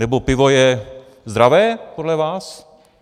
Nebo pivo je zdravé podle vás?